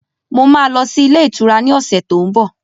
Mo ma lọ sí ilé ìtura ni ọ̀sẹ̀ tó ń bọ̀